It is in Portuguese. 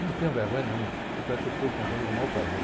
Não tenho vergonha nenhuma, tanto é que eu estou contando e é o maior prazer.